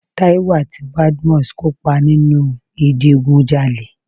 Táíwò àti Badmus kópa nínu ìdigunjalè.